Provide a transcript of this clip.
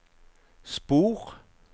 spor